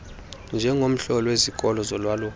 njengomhloli wezikolo zolwaluko